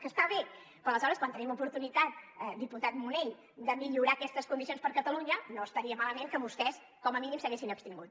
que està bé però aleshores quan tenim oportunitat diputat munell de millorar aquestes condicions per a catalunya no estaria malament que vostès com a mínim s’haguessin abstingut